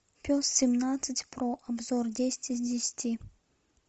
пес семнадцать про обзор десять из десяти